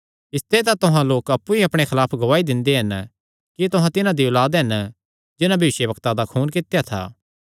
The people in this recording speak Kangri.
इसते तां तुहां लोक अप्पु ई अपणे खलाफ गवाही दिंदे हन कि तुहां तिन्हां दी औलाद हन जिन्हां भविष्यवक्तां दा खून कित्या था